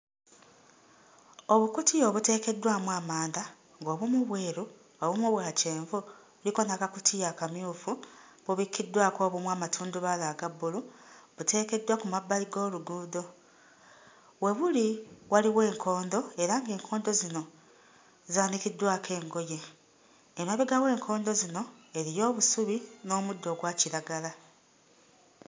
Obukutiya obuteekeddwamu amanda ng'obumu bweru obumu bwa kyenvu kuliko n'akakutiya akamyufu, bubikiddwako obumu amatundubaali aga bbulu, buteekeddwa ku mabbali g'oluguudo, we buli waliwo enkondo era ng'enkodo zino zaanikiddwako engoye. Emabega w'enkondo zino eriyo obusubi n'omuddo ogwakiragala.